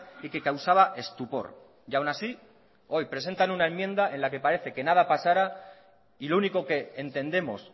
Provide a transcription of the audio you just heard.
y que causaba estupor y aun así hoy presentan una enmienda en la que parece que nada pasara y lo único que entendemos